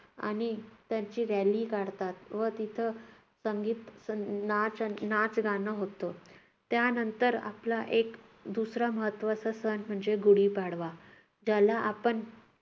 आणि त्यांची रॅली काढतात. व तिथे संगीत नाच नाच नाचगाणं होतं. त्यानंतर आपला दुसरा एक महत्त्वाचा सण म्हणजे गुढी पाडवा. याला आपण